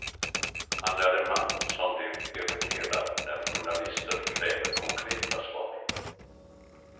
Han är en man som blir irriterad när journalister kräver konkreta svar.